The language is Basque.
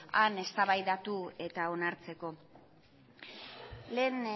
han eztabaidatu eta onartzeko lehen